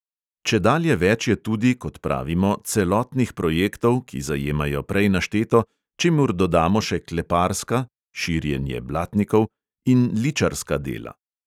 Čedalje več je tudi, kot pravimo, celotnih projektov, ki zajemajo prej našteto, čemur dodamo še kleparska (širjenje blatnikov) in ličarska dela.